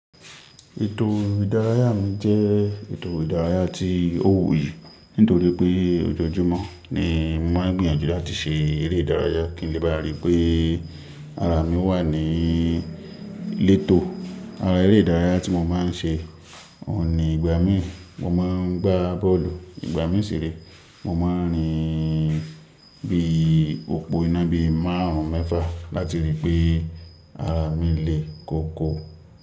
Ètò ìdárayá mi jẹ́ ètò ìdárayá tí ó wuyì, nítorí pé ojoojúmọ́ ni mo máa ń gbìyànjú láti ṣe eré ìdárayá kí n lè bá ríi pé ara mi wà ní lẹ́tò. Eré ìdárayá tí mo máa ń ṣe ò ní ìgbà mí, mo máa ń gbá bọ́ọ̀lù. Ìgbà míì sì re, mo máa ń rìn bí òpó iná bí márùn-ún mẹ́fà láti ríi pé ara mi le koko.